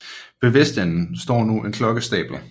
Ved vestenden står nu en klokkestabel